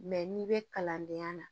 Mɛ n'i bɛ kalandenya na